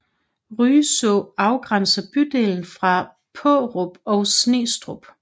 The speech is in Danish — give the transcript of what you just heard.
Rydså afgrænser bydelen fra Paarup og Snestrup